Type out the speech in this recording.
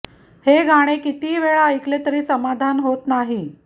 हे गाणे कितीही वेळा ऐकले तरी समाधान होत नाही